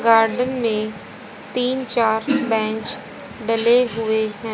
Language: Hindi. गार्डन में तीन चार बेंच डले हुए हैं।